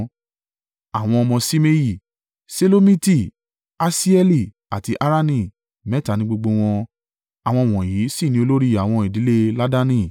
Àwọn ọmọ Ṣimei: Ṣelomiti, Hasieli àti Harani mẹ́ta ní gbogbo wọn. Àwọn wọ̀nyí sì ni olórí àwọn ìdílé Laadani.